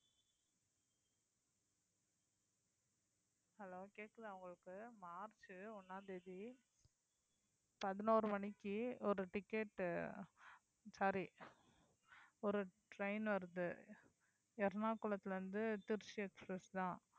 hello கேக்குதா உங்களுக்கு March ஒண்ணாம் தேதி பதினோரு மணிக்கு ஒரு ticket sorry ஒரு train வருது எர்ணாகுளத்திலிருந்து திருச்சி express தான்